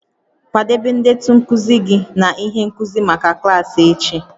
Kwadebe ndetu nkuzi gị na ihe nkuzi maka klaasị echi